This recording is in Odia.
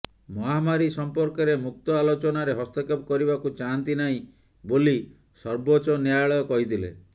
ମହାମାରୀ ସମ୍ପର୍କରେ ମୁକ୍ତ ଆଲୋଚନାରେ ହସ୍ତକ୍ଷେପ କରିବାକୁ ଚାହାନ୍ତି ନାହିଁ ବୋଲି ସର୍ବୋଚ୍ଚ ନ୍ୟାୟାଳୟ କହିଥିଲେ